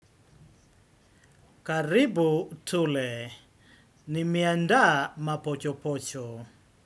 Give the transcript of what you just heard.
Karibu, tule, nimeandaa mapochopocho.